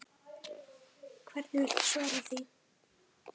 Hvernig viltu svara því?